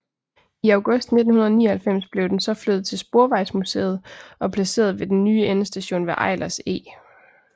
I august 1999 blev den så flyttet til Sporvejsmuseet og placeret ved den nye endestation ved Eilers Eg